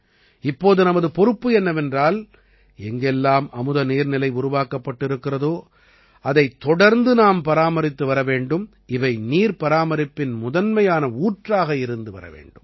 இப்போது நமது பொறுப்பு என்னவென்றால் எங்கெல்லாம் அமுத நீர்நிலை உருவாக்கப்பட்டிருக்கிறதோ அதைத் தொடர்ந்து நாம் பராமரித்து வர வேண்டும் இவை நீர்பராமரிப்பின் முதன்மையான ஊற்றாக இருந்து வர வேண்டும்